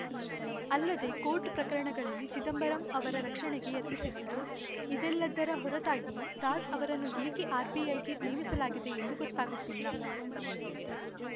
ಅಲ್ಲದೆ ಕೋರ್ಟ್‌ ಪ್ರಕರಣಗಳಲ್ಲಿ ಚಿದಂಬರಂ ಅವರ ರಕ್ಷಣೆಗೆ ಯತ್ನಿಸಿದ್ದರು ಇದೆಲ್ಲದ್ದರ ಹೊರತಾಗಿಯೂ ದಾಸ್‌ ಅವರನ್ನು ಏಕೆ ಆರ್‌ಬಿಐಗೆ ನೇಮಿಸಲಾಗಿದೆ ಎಂದು ಗೊತ್ತಾಗುತ್ತಿಲ್ಲ